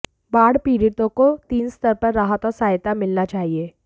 बाढ़ पीड़ितों को तीन स्तर पर राहत और सहायता मिलना चाहिए